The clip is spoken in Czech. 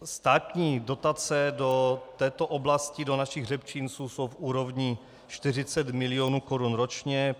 Státní dotace do této oblasti do našich hřebčinců jsou v úrovni 40 mil. korun ročně.